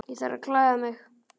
Ég þarf að klæða mig.